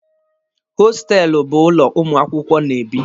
Hostelụ bụ ụlọ ụmụ akwụkwọ na-ebi.